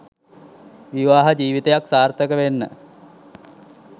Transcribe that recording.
විවාහ ජිවිතයක් සාර්ථක වෙන්න